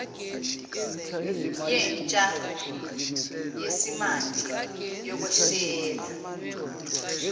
yentsha yesimanje yokweshela